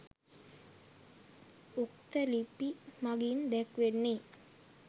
උක්ත ලිපි මගින් දැක්වෙන්නේ